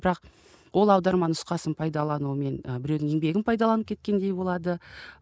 бірақ ол аударма нұсқасын пайдалану мен ы біреудің еңбегін пайдаланып кеткендей болады